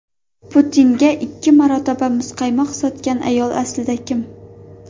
Putinga ikki marotaba muzqaymoq sotgan ayol aslida kim?.